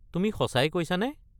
তুমি সঁচাই কৈছা নে?